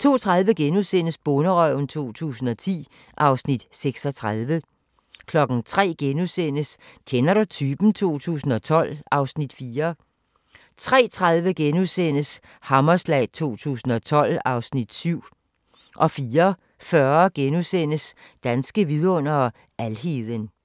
02:30: Bonderøven 2010 (Afs. 36)* 03:00: Kender du typen? 2012 (Afs. 4)* 03:30: Hammerslag 2012 (Afs. 7)* 04:40: Danske vidundere: Alheden *